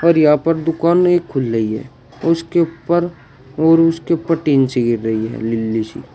और यहां पर दुकान नहीं खुल रही है उसके ऊपर और उसके ऊपर टीन से गिर रही है नीली सी।